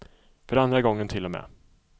För andra gången till och med.